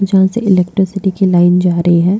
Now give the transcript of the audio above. जहां से इलेक्ट्रिसिटी की लाइन जा रही है।